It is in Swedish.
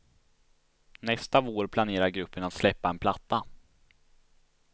Nästa vår planerar gruppen att släppa en platta.